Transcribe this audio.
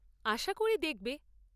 আশা করি দেখবে।